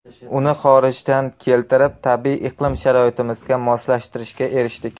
Uni xorijdan keltirib, tabiiy iqlim sharoitimizga moslashtirishga erishdik.